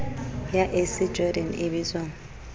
ya ac jordan e bitswang